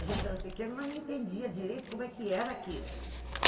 A gente era pequena, mas não entendia direito como é que era aquilo.